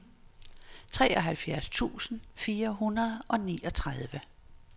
treoghalvtreds tusind fire hundrede og niogtredive